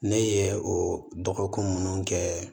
Ne ye o dɔgɔkun nunnu kɛ